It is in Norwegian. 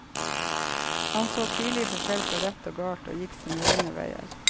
Han så tidlig forskjell på rett og galt, og gikk sine egne veier.